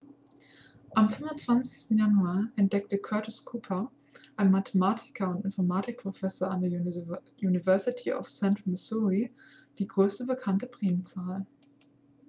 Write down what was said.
am 25. januar entdeckte curtis cooper ein mathematiker und informatik-professor an der university of central missouri die größte bekannte primzahl